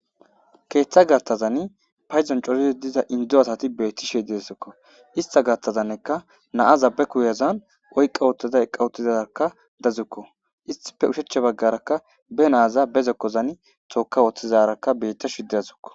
keeththa gaththazani phayzan corizi diza indo asati bettishe deesikko ista gaththazanika naaza be kuyazan oyqqa woottida eqa uttidarakka dazukko issitappe ushecha baggarakka be naaza bezokkozani zooka wooththizarakka bettashe dawusikko